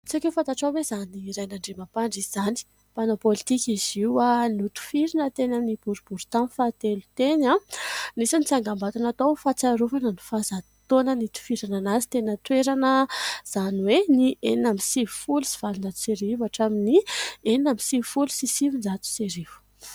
Tsy aiko hoe fatatrao ve izany Rainandriamampandry izany? Panao politiaka izy io a! Notifirina teny amin'ny boribiry tany faha 3 teny a! Misy ny tsangabato natao hofatsiarovana ny faha 100 taonany nitifirana anazy teny an-toerana a! Izany hoe ny 1896 atramin'ny 1996.